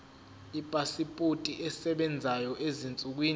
ipasipoti esebenzayo ezinsukwini